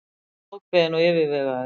Ákveðinn og yfirvegaður.